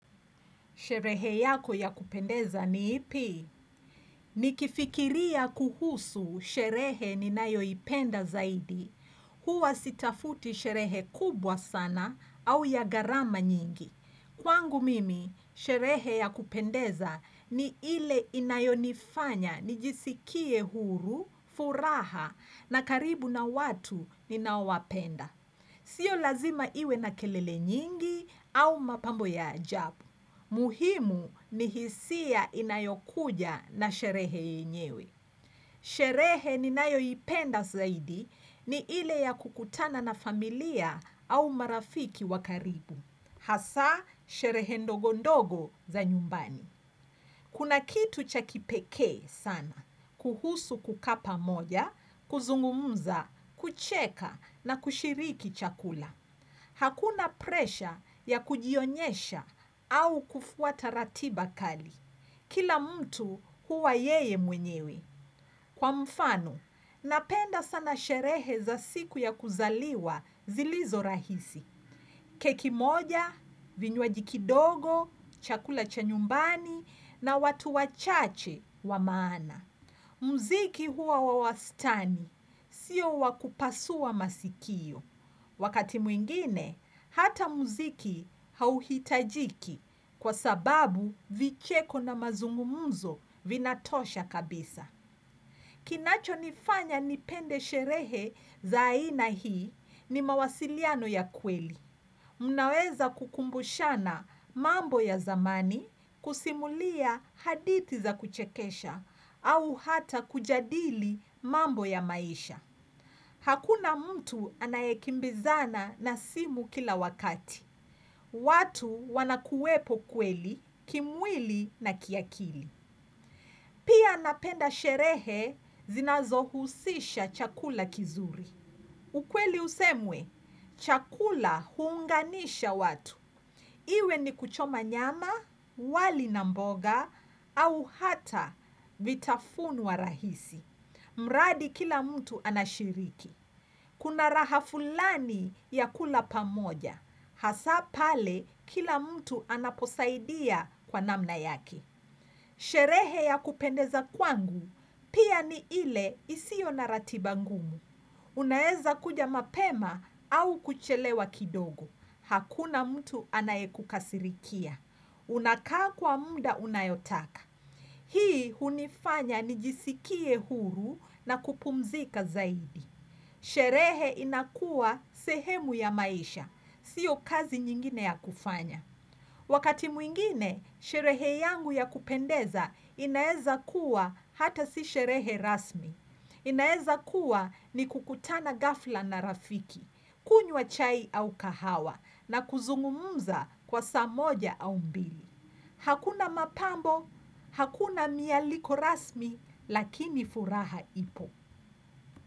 Sherehe yako ya kupendeza ni ipi? Nikifikiria kuhusu sherehe ni nayo ipenda zaidi. Huwa sitafuti sherehe kubwa sana au ya gharama nyingi. Kwangu mimi, sherehe ya kupendeza ni ile inayonifanya nijisikie huru, furaha na karibu na watu ni naowapenda. Sio lazima iwe na kelele nyingi au mapambo ya ajabu. Muhimu ni hisia inayokuja na sherehe yenyewe. Sherehe ni nayo ipenda zaidi ni ile ya kukutana na familia au marafiki wakaribu. Hasa sherehe ndogondogo za nyumbani. Kuna kitu chakipekee sana, kuhusu kukaa pamoja, kuzungumza, kucheka na kushiriki chakula. Hakuna presha ya kujionyesha au kufuata ratiba kali. Kila mtu huwa yeye mwenyewe. Kwa mfano, napenda sana sherehe za siku ya kuzaliwa zilizo rahisi. Keki moja, vinywajikidogo, chakula cha nyumbani na watu wachache wa maana. Mziki huwa wawastani, sio wakupasua masikio. Wakati mwingine, hata muziki hauhitajiki kwa sababu vicheko na mazungumuzo vinatosha kabisa. Kinacho nifanya nipende sherehe za aina hii ni mawasiliano ya kweli. Mnaweza kukumbushana mambo ya zamani kusimulia hadithi za kuchekesha au hata kujadili mambo ya maisha. Hakuna mtu anayekimbizana na simu kila wakati. Watu wanakuwepo kweli, kimwili na kiakili. Pia napenda sherehe zinazohusisha chakula kizuri. Ukweli usemwe, chakula uunganisha watu. Iwe ni kuchoma nyama, wali namboga, au hata vitafunwa rahisi. Mradi kila mtu anashiriki. Kuna raha fulani ya kula pamoja. Hasapale kila mtu anaposaidia kwa namna yake. Sherehe ya kupendeza kwangu pia ni ile isio na ratibangumu. Unaeza kuja mapema au kuchelewa kidogo. Hakuna mtu anaye kukasirikia. Unakaa kwa mda unayotaka. Hii unifanya nijisikie huru na kupumzika zaidi. Sherehe inakuwa sehemu ya maisha, siyo kazi nyingine ya kufanya. Wakati mwingine, sherehe yangu ya kupendeza inaeza kuwa hata si sherehe rasmi. Inaeza kuwa ni kukutana ghafla na rafiki, kunywa chai au kahawa, na kuzungumuza kwa saa moja au mbili. Hakuna mapambo, hakuna mia liko rasmi, lakini furaha ipo.